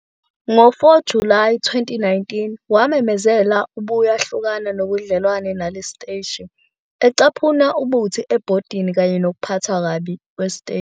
Ngo-4 Julayi 2019, wamemezela ukuthi ubuyahlukana nobudlelwano nalesi siteshi, ecaphuna ubuthi ebhodini kanye nokuphathwa kabi kwesiteshi.